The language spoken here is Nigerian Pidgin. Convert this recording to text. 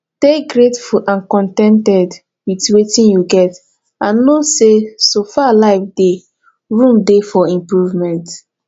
dey greatful and con ten ted with wetin you get and know sey so far life dey room dey for improvement